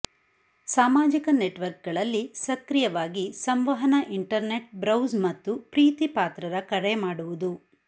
ಸಾಮಾಜಿಕ ನೆಟ್ವರ್ಕ್ಗಳಲ್ಲಿ ಸಕ್ರಿಯವಾಗಿ ಸಂವಹನ ಇಂಟರ್ನೆಟ್ ಬ್ರೌಸ್ ಮತ್ತು ಪ್ರೀತಿಪಾತ್ರರ ಕರೆ ಮಾಡುವುದು